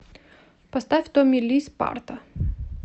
поставь томми ли спарта